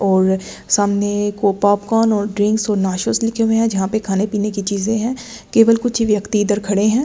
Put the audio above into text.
और सामने को पॉपकॉर्न और ड्रिंक्स और लिखे हुए हैं जहां पे खाने पीने की चीजें हैं केवल कुछ ही व्यक्ति इधर खड़े हैं।